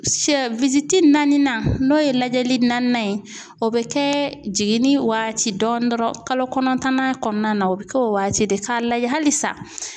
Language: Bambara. Sɛ naaninan n'o ye lajɛli naaninan ye o bɛ kɛ jiginni waati dɔɔni dɔrɔn kalo kɔnɔntɔnnan kɔnɔna na o bɛ kɛ o waati de k'a lajɛ halisa